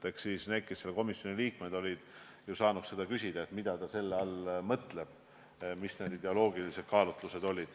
Eks need, kes selle komisjoni liikmed olid, saanuks ju küsida, mida ta selle all mõtles ja mis need ideoloogilised kaalutlused on.